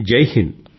జైహింద్